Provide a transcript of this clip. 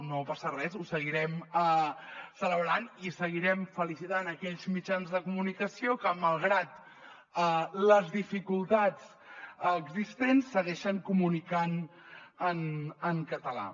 no passa res ho seguirem celebrant i seguirem fe·licitant aquells mitjans de comunicació que malgrat les dificultats existents seguei·xen comunicant en català